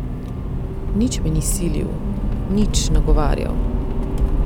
Nič me ni silil, nič nagovarjal.